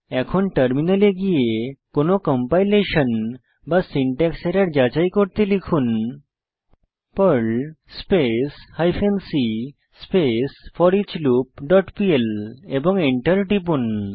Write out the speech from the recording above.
এখন টার্মিনালে গিয়ে কোনো কম্পাইলেশন বা সিনট্যাক্স এরর যাচাই করতে লিখুন Perl space hyphen c space foreach loop dot PL এবং enter টিপুন